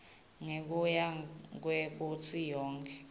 ngekuya kwekutsi yonkhe